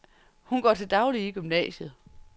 Hun går til dagligt i gymnasiet.